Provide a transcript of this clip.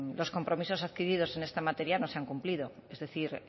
los compromisos adquiridos en esta materia no se han cumplido es decir